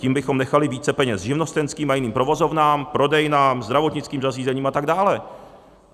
Tím bychom nechali více peněz živnostenským a jiným provozovnám, prodejnám, zdravotnickým zařízením a tak dále.